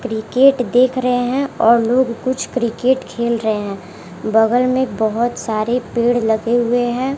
Cricket देख रहे हैं और लोग कुछ क्रिकेट खेल रहे हैं बगल में बहुत सारे पेड़ लगे हुए हैं।